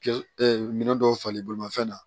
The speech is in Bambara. minɛn dɔw falen bolimafɛn na